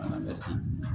An bɛ se